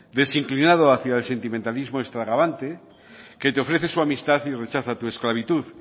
desinclinado hacia el sentimentalismo extravagante que te ofrece su amistad y rechaza tu esclavitud